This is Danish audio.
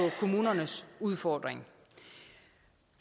kommunernes udfordring